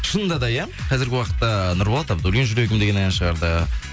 шынында да иә қазіргі уақытта нұрболат абдуллин жүрегім деген ән шығарды